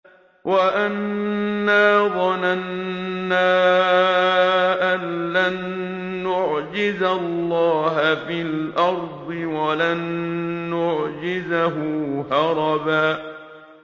وَأَنَّا ظَنَنَّا أَن لَّن نُّعْجِزَ اللَّهَ فِي الْأَرْضِ وَلَن نُّعْجِزَهُ هَرَبًا